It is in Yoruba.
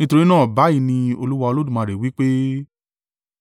nítorí náà báyìí ní Olúwa Olódùmarè wí pé,